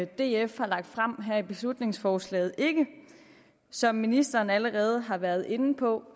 df har lagt frem her i beslutningsforslaget ikke som ministeren allerede har været inde på